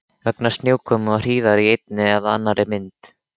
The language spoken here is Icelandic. Vegna snjókomu og hríðar í einni eða annarri mynd.